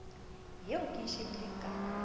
eo ke e shebileng ka